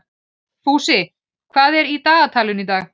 Fúsi, hvað er í dagatalinu í dag?